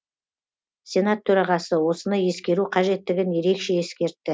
сенат төрағасы осыны ескеру қажеттігін ерекше ескертті